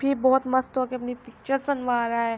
بہت مست ہوکے اپنے پکچر رہا ہے